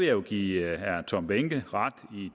jo give herre tom behnke ret